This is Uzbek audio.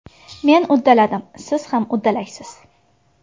Men uddaladim, siz ham uddalaysiz!